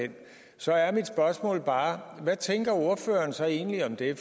den så er mit spørgsmål bare hvad tænker ordføreren så egentlig om det